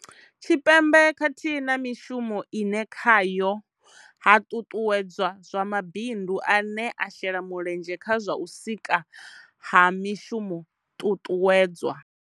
Tshipembe khathihi na mishumo ine khayo ha ṱuṱuwedzwa zwa mabindu ane a shela mulenzhe kha zwa u sikwa ha mishumo ṱuṱuwedzwa.